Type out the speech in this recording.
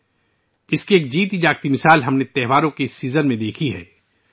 ہم نے اس کی براہ راست مثال ، اس تہوار کے موسم میں دیکھی ہے